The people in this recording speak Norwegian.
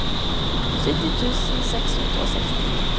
sytti tusen seks hundre og sekstini